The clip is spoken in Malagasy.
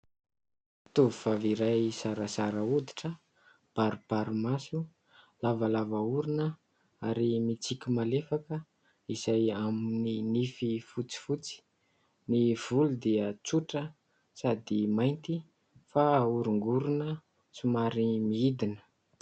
Tovovavy iray zarazara hoditra, baribary maso, lavalava orona ary mitsiky malefaka izay amin'ny nify fotsifotsy. Ny volo dia tsotra sady mainty fa ahorongorona somary midina.